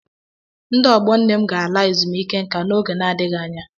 Ndị ọgbọ nne m ga-ala ezumike nka n'oge adịghị anya.